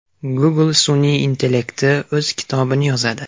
Google sun’iy intellekti o‘z kitobini yozadi.